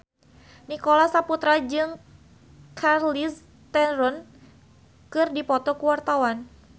Nicholas Saputra jeung Charlize Theron keur dipoto ku wartawan